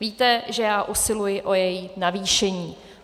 Víte, že já usiluji o její navýšení.